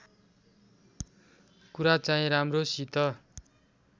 कुरा चाहिँ राम्रोसित